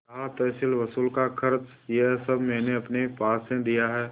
रहा तहसीलवसूल का खर्च यह सब मैंने अपने पास से दिया है